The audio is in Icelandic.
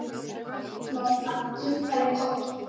Lolla kinkaði kolli.